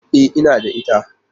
E, ina da ita.